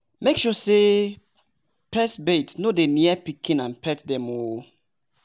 make sure say pes bait no dey near pikin and pet dem o!